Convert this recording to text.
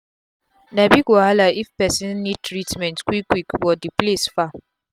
na big wahala if pesin need treatment quick quick but d place far